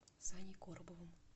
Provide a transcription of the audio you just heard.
саней коробовым